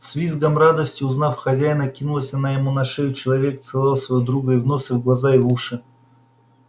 с визгом радости узнав хозяина кинулась она ему на шею и человек целовал своего друга и в нос и в глаза и в уши